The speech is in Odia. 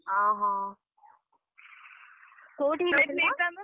ଅହ, କୋଉଠିକି ଯାଇଥିଲ ?